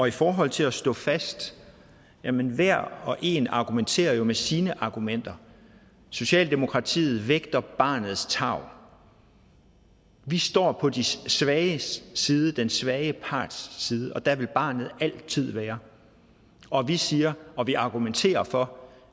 i forhold til at stå fast jamen hver og en argumenterer med sine argumenter socialdemokratiet vægter barnets tarv vi står på de svages side den svage parts side og der vil barnet altid være og vi siger og vi argumenterer for